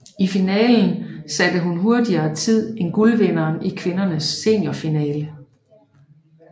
I finalen satte hun hurtigere tid end guldvinderen i kvindernes seniorfinale